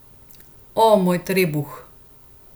O, moj trebuh!